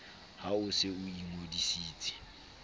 ha o se o ingodisitse